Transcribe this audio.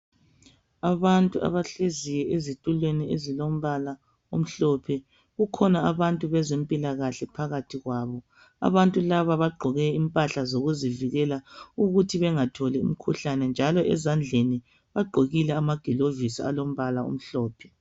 Abantu abahleziyo ezitulweni ezilombala omhlophe. Kukhona abantu abazempilakahle phakathi kwabo. Abantu laba bagqoke impahla zokuzivikela ukuthi bengatholi umkhuhlane njalo ezandleni ugqokile amagilovisi amhlophe.